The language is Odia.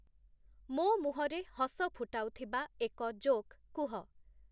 ମୋ ମୁହଁରେ ହସ ଫୁଟାଉଥିବା ଏକ ଜୋକ୍‌ କୁହ